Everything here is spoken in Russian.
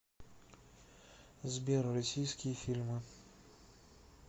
сбер россииские фильмы